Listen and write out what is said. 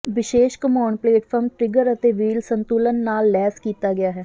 ਵਿਸ਼ੇਸ਼ ਘੁੰਮਾਉਣ platform trigger ਅਤੇ ਵੀਲ ਸੰਤੁਲਨ ਨਾਲ ਲੈਸ ਕੀਤਾ ਗਿਆ ਹੈ